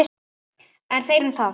En þeir um það!